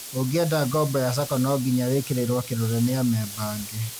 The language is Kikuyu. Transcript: ũngĩenda ngoombo ya SACCO no nginya wĩkĩrĩrwo kĩrore nĩ amemba angĩ